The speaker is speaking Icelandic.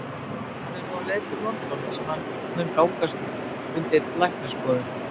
Hann er nú á leið til London þar sem hann mun undirgangast læknisskoðun.